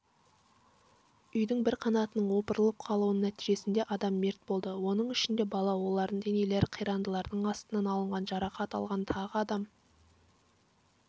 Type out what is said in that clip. үйдің бір қанатының опырылып құлауының нәтижесінде адам мерт болды оның ішінде бала олардың денелері қирандылардың астынан алынған жарақат алған тағы адам